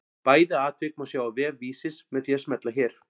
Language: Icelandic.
Bæði atvik má sjá á vef Vísis með því að smella hér.